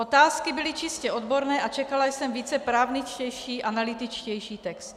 Otázky byly čistě odborné a čekala jsem více právničtější, analytičtější text.